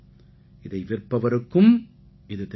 இதை விற்பவருக்கும் இது தெரியும்